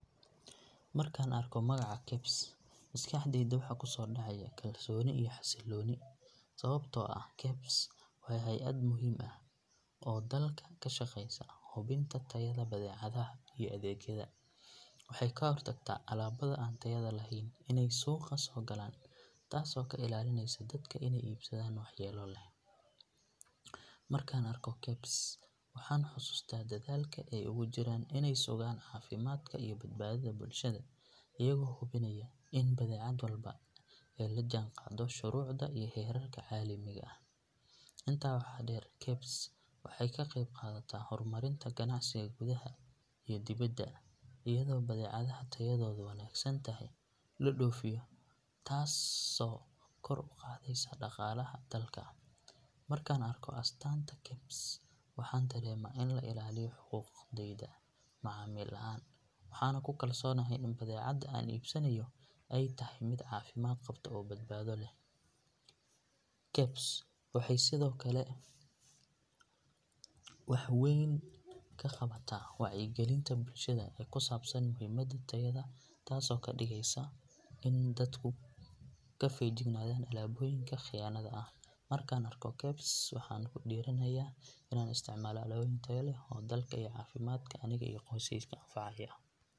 Markaan arko magaca KEBS maskaxdayda waxa ku soo dhacaya kalsooni iyo xasilooni sababtoo ah KEBS waa hay’ad muhiim ah oo dalka ka shaqeysa hubinta tayada badeecadaha iyo adeegyada. Waxay ka hortagtaa alaabada aan tayada lahayn inay suuqa soo galaan taasoo ka ilaalinaysa dadka inay iibsadaan waxyeello leh. Markaan arko KEBS waxaan xusuustaa dadaalka ay ugu jiraan inay sugaan caafimaadka iyo badbaadada bulshada iyagoo hubinaya in badeecad walba ay la jaanqaaddo shuruucda iyo heerarka caalamiga ah. Intaa waxaa dheer KEBS waxay ka qayb qaadataa horumarinta ganacsiga gudaha iyo dibadda iyadoo badeecadaha tayadoodu wanaagsan tahay la dhoofiyo taasoo kor u qaadaysa dhaqaalaha dalka. Markaan arko astaanta KEBS waxaan dareemaa in la ilaaliyo xuquuqdayda macaamil ahaan waxaana ku kalsoonahay in badeecada aan iibsanayo ay tahay mid caafimaad qabta oo badbaado leh. KEBS waxay sidoo kale wax weyn ka qabataa wacyigelinta bulshada ee ku saabsan muhiimada tayada taasoo ka dhigaysa inay dadku ka feejignaadaan alaabooyinka khiyaanada ah. Markaan arko KEBS waxaan ku dhiirranahay inaan isticmaalo alaabooyin tayo leh oo dalka iyo caafimaadka aniga iyo qoyskeyga anfacaya.